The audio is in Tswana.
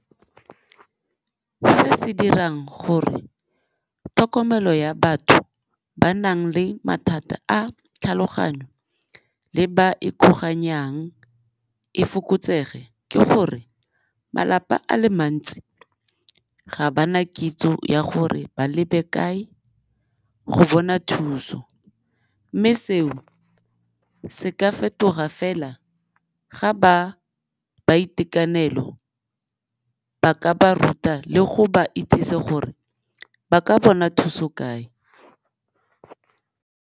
Se se dirang gore tlhokomelo ya batho ba nang le mathata a tlhaloganyo le ba ikgoganyang e fokotsege ke gore malapa a le mantsi ga ba na kitso ya gore ba lebe kae go bona thuso, mme seo se ka fetoga fela ga ba itekanelo ba ka ba ruta le go ba itsise gore ba ka bona thuso kae.